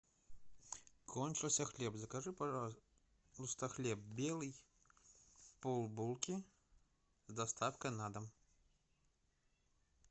кончился хлеб закажи пожалуйста хлеб белый пол булки с доставкой на дом